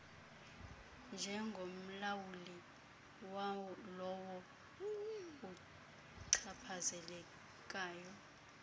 njengomlawuli walowo uchaphazelekayo